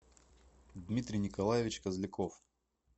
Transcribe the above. дмитрий николаевич козляков